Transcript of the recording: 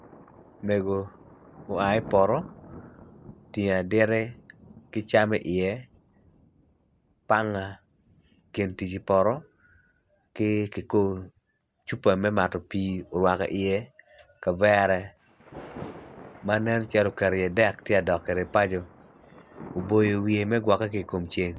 Mego oai i poto otingo aditi ki cam iye panga gin tic i poto ki kikubo cupa me mato pii orwako iye kavere ma nen calo oketo iye dek tye ka dok kwede paco oboyo wiye me gwokke ki i kom ceng